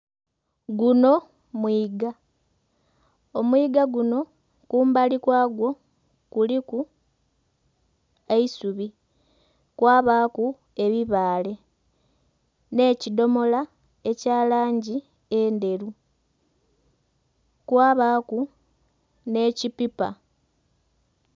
Guno mwiiga, omwiga guno kumbali kwa gwo kuliku eisubi, kwa baaku ebibaale nhe kidhomola ekya langi endheru kwabaku nhe ki pipa.